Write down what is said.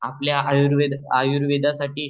आपल्या आयुर्वेद आयुर्वेदासाठी